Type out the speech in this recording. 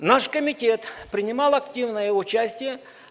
наш комитет принимал активное участие